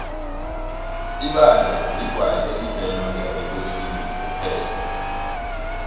ibange ligwayi elibhenywa ngabekosini kuphela